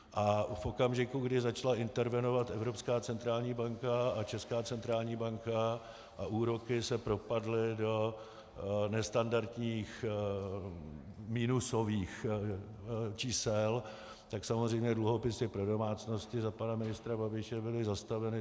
A v okamžiku, kdy začala intervenovat Evropská centrální banka a Česká centrální banka a úroky se propadly do nestandardních minusových čísel, tak samozřejmě dluhopisy pro domácnosti za pana ministra Babiše byly zastaveny.